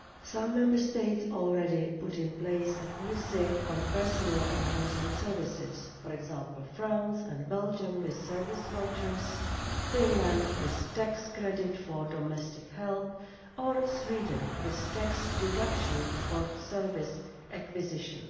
Some Member States have already put in place a policy on personal and household services for example, France and Belgium with service vouchers, Finland with tax credit for domestic help or Sweden with tax deduction for service acquisition.